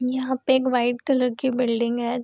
यहाँ पे एक वाइट कलर की बिल्डिंग है।